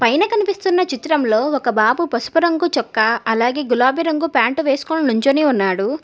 పైన కనిపిస్తున్న చిత్రంలో ఒక బాబు పసుపు రంగు చొక్కా అలాగే గులాబీ రంగు ప్యాంటు వేసుకొని నుంచొని ఉన్నాడు.